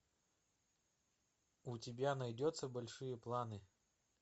у тебя найдется большие планы